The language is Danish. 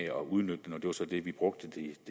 at udnytte den det var så det vi brugte det